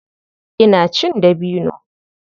Ina cin dabino.